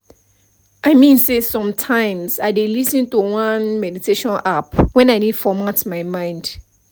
i mean say sometimes i dey lis ten to one meditation app when i need format my mind